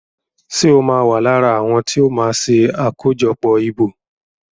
Ṣe o ma wá lára àwọn tíó ma ṣe akojọpọ ìbò?